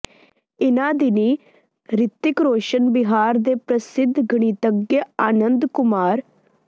ਇਨ੍ਹਾਂ ਦਿਨੀਂ ਰਿਤਿਕ ਰੌਸ਼ਨ ਬਿਹਾਰ ਦੇ ਪ੍ਰਸਿੱਧ ਗਣਿਤੱਘ ਆਨੰਦ ਕੁਮਾਰ